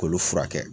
K'olu furakɛ